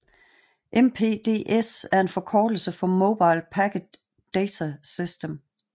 MPDS er en forkortelse for Mobile Packet Data System